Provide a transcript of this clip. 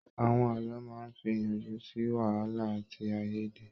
Àwọn ààlọ́ máa fí iyànjú sí wàhálà àti aiyèdè.